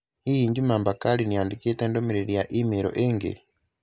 Hihi Juma Bakari nĩ andĩkĩte ndũmĩrĩri ya i-mīrū ĩngĩ?